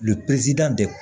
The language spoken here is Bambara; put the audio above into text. Le perezidan de don